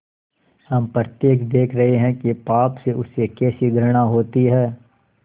हम प्रत्यक्ष देख रहे हैं कि पाप से उसे कैसी घृणा होती है